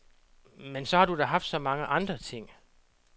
Men så har du da haft så mange andre ting.